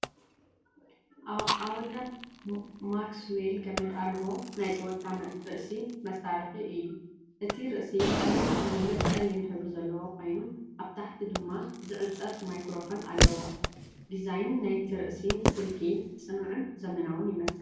ኣውደዝ ማክስዌል ገመድ ኣልቦ ናይ ጸወታ ርእሲ መሳርሒ እዩ። እቲ ርእሲ ምሉእ ብምሉእ ጸሊም ሕብሪ ዘለዎ ኮይኑ፡ ኣብ ታሕቲ ድማ ዝዕጸፍ ማይክሮፎን ኣለዎ። ዲዛይን ናይቲ ርእሲ ስልኪ ጽኑዕን ዘመናውን ይመስል።